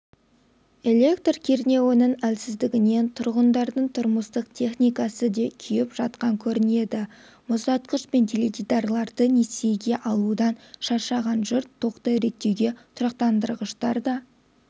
электр кернеуінің әлсіздігінен тұрғындардың тұрмыстық техникасы да күйіп жатқан көрінеді мұздатқыш пен теледидарларды несиеге алудан шаршаған жұрт тоқты реттеуге тұрақтандырғыштар да